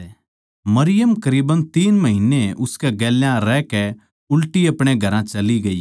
मरियम करीब तीन महिन्ने उसकै गेल्या रहकै उल्टी अपणे घरां चली ग्यी